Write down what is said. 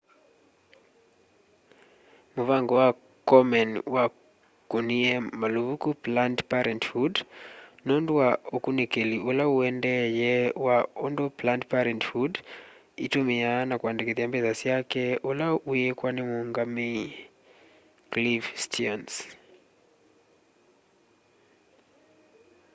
mũvango wa komen wakunie maluvuku planned parenthood nundu wa ukunikili ula wuendeeye wa undũ planned parenthood itumiaa na kũandikithya mbesa syake ula wiikwa ni muungamei cliff stearns